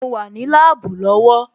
Mo wà ní láàbù lọ́wọ́